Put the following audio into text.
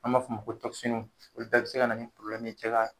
An b'a f'o ma ko olu bɛ bi se ka na ni ye cɛ ka